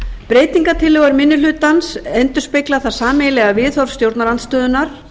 breytingartillögur minni hlutans endurspegla það sameiginlega viðhorf stjórnarandstöðunnar